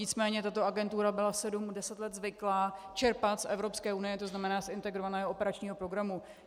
Nicméně tato agentura byla sedm, deset let zvyklá čerpat z Evropské unie, to znamená z integrovaného operačního programu.